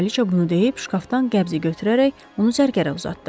Kraliça bunu deyib şkafdan qəbzi götürərək onu zərgərə uzatdı.